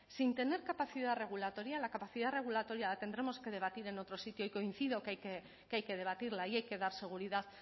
sin tener capacidad regulatoria la capacidad regulatoria la tendremos que debatir en otro sitio y coincido que hay que debatirla y hay que dar seguridad